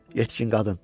Yetkin qadın.